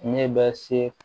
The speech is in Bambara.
Ne bɛ se